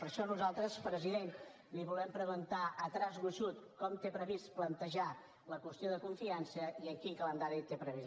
per això nosaltres president li volem preguntar a traç gruixut com té previst plantejar la qüestió de confiança i amb quin calendari ho té previst